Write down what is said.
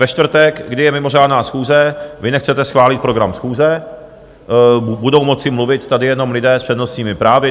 Ve čtvrtek, kdy je mimořádná schůze, vy nechcete schválit program schůze, budou moci mluvit tady jenom lidé s přednostními právy.